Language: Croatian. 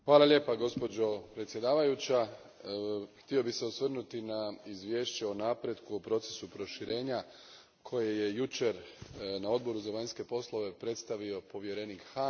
Gospođo predsjednice, htio bih se osvrnuti na izvješće o napretku o procesu proširenja koje je jučer na Odboru za vanjske poslove predstavio povjerenik Hahn.